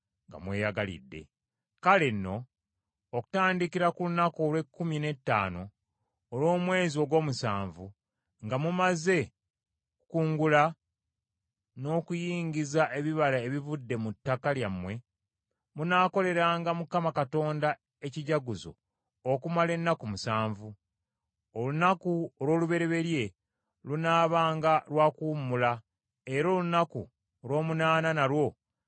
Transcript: “Kale nno okutandikira ku lunaku olw’ekkumi n’ettaano olw’omwezi ogw’omusanvu, nga mumaze okukungula n’okuyingiza ebibala ebivudde mu ttaka lyammwe, munaakoleranga Mukama Katonda ekijaguzo okumala ennaku musanvu; olunaku olw’olubereberye lunaabanga lwa kuwummula era n’olunaku olw’omunaana nalwo nga lwa kuwummula.